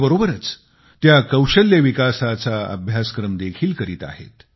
याबरोबरच त्या कौशल्य विकासाचा अभ्यासक्रम देखील करीत आहेत